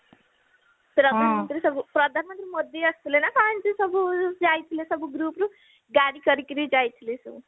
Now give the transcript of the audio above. ପ୍ରଧାନମନ୍ତ୍ରୀ ସବୁ ପ୍ରଧାନମନ୍ତ୍ରୀ ମୋଦୀ ଆସିଥିଲେ ନା କଣ ଏଇନ୍ତି ସବୁ ଯାଇଥିଲେ ସବୁ group ରୁ ଗାଡି କରିକରି ଯାଇଥିଲେ ସବୁ